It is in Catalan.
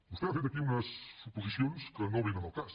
vostè ha fet aquí unes suposicions que no vénen al cas